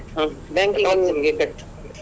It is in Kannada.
ಹ್ಮ್ banking exam ಕಟ್ಟು.